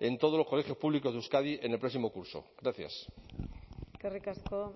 en todos los colegios públicos de euskadi en el próximo curso gracias eskerrik asko